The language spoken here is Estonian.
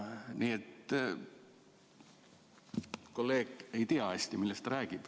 Nii et kolleeg ei tea hästi, millest ta räägib.